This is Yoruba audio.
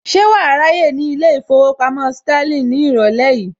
Ṣé wàá ráyè ní ilé ìfowópamọ́ Sterling ní ìrọ̀lẹ́ yìí